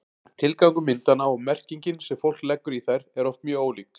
tilgangur myndanna og merkingin sem fólk leggur í þær eru oft mjög ólík